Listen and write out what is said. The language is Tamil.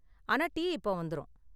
ஆனா, டீ இப்ப வந்துரும்.